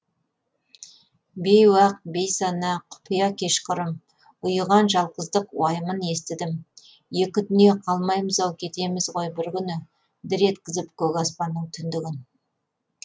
бейуақ бейсана құпия кешқұрым ұйыған жалғыздық уайымын естідім екі дүниеқалмаймыз ау кетеміз ғой бір күні дір еткізіп көк аспанның түндігін